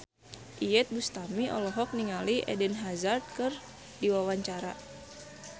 Iyeth Bustami olohok ningali Eden Hazard keur diwawancara